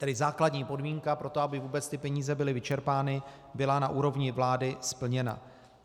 Tedy základní podmínka pro to, aby vůbec ty peníze byly vyčerpány, byla na úrovni vlády splněna.